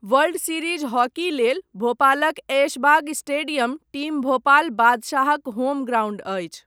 World series hockey लेल, भोपालक Aishbagh stadium, team Bhopal बादशाहक होम ग्राउण्ड अछि।